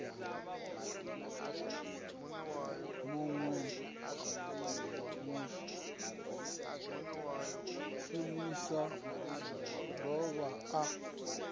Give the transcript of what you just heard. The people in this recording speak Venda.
munwe mushumi a dovha a